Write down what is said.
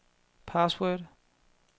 password